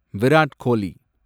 Virat Kohli